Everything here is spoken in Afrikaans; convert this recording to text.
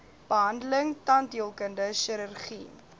behandeling tandheelkundige chirurgie